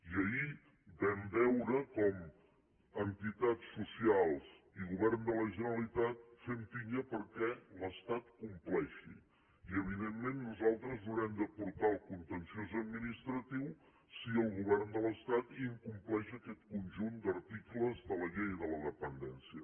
i ahir vam veure com entitats socials i govern de la generalitat fem pinya perquè l’estat compleixi i evidentment nosaltres haurem de portar el contenciós administratiu si el govern de l’estat incompleix aquest conjunt d’articles de la llei de la dependència